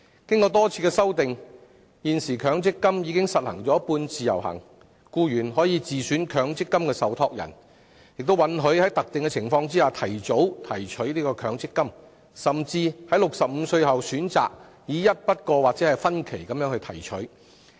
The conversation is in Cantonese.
經過多次修訂，現時強積金已實行"半自由行"，僱員可自選強積金受託人，亦可在特定情況下提早提取強積金，或在65歲後選擇以一筆過或分期提取。